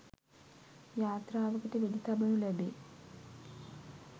යාත්‍රාවකට වෙඩි තබනු ලැබේ.